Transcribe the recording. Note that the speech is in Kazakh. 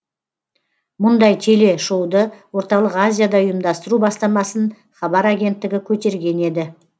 мұндай телешоуды орталық азияда ұйымдастыру бастамасын хабар агенттігі көтерген еді